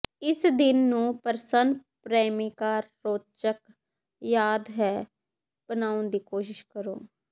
ਇਸ ਦਿਨ ਨੂੰ ਪ੍ਰਸੰਨ ਪ੍ਰੇਮਿਕਾ ਰੌਚਕ ਯਾਦ ਹੈ ਬਣਾਉਣ ਦੀ ਕੋਸ਼ਿਸ਼ ਕਰੋ